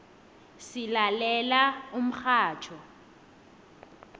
silalela umxhatjho